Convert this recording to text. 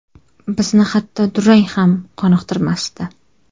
Bizni hatto durang ham qoniqtirmasdi.